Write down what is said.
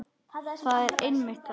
Það er einmitt það.